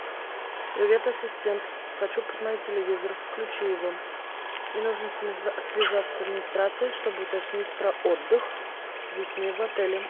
привет ассистент хочу посмотреть телевизор включи его и нужно связаться с администрацией чтобы уточнить про отдых с детьми в отеле